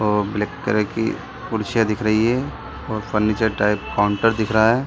और black colour की कुर्सियां दिख रही है और फर्नीचर टाइप काउंटर दिख रहा है।